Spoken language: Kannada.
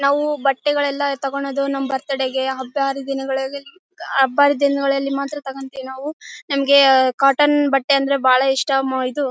ನಾವು ಬಟ್ಟೆ ಗಳೆಲ್ಲಾ ತಗೊಂಡ್ ಹೋದ್ವಿ ನಮ್ ಬರ್ತಡೇ ಗೆ ಹಬ್ಬ ಹರಿದಿನಗಳಲ್ಲಿ ಹಬ್ಬ ಹರಿದಿನಗಳಲ್ಲಿ ಮಾತ್ರ ತಗೋಂತೀವಿ ನಾವು ನಮ್ಗೆ ಕಾಟನ್ ಬಟ್ಟೆ ಅಂದ್ರೆ ಬಹಳ ಇಷ್ಟ ಇದು--